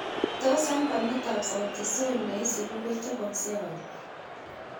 Tos' albamitap Sauti Sol ne isibu ko choboksei au